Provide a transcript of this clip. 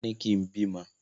Wọn ní kín bímọ!